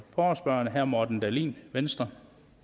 forespørgerne herre morten dahlin venstre